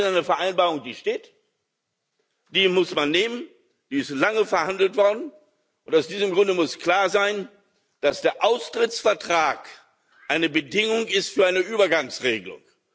Dies ist eine Vereinbarung, die steht, die muss man so nehmen, die ist lange verhandelt worden. Und aus diesem Grund muss klar sein, dass der Austrittsvertrag eine Bedingung ist für eine Übergangsregelung.